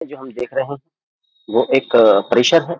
और हम जो देख रहे हैं वह एक प्रेशर है।